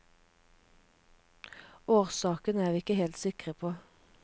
Årsaken er vi ikke helt sikre på.